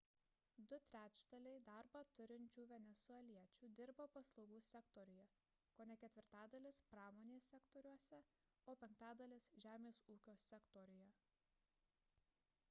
du trečdaliai darbą turinčių venesueliečių dirba paslaugų sektoriuje kone ketvirtadalis – pramonės sektoriuose o penktadalis – žemės ūkio sektoriuje